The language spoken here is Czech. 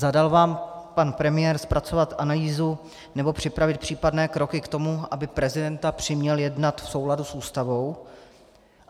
Zadal vám pan premiér zpracovat analýzu nebo připravit případné kroky k tomu, aby prezidenta přiměl jednat v souladu s Ústavou?